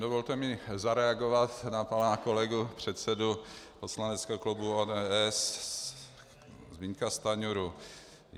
Dovolte mi zareagovat na pana kolegu předsedu poslaneckého klubu ODS Zbyňka Stanjuru.